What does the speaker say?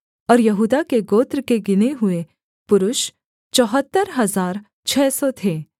और यहूदा के गोत्र के गिने हुए पुरुष चौहत्तर हजार छः सौ थे